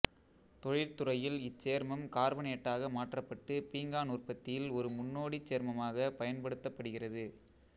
தொழிற்துறையில் இச்சேர்மம் கார்பனேட்டாக மாற்றப்பட்டு பீங்கான் உற்பத்தியில் ஒரு முன்னோடிச் சேர்மமாகப் பயன்படுத்தப்படுகிறது